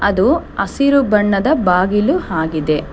ಅದು ಹಸಿರು ಬಣ್ಣದ ಬಾಗಿಲು ಆಗಿದೆ.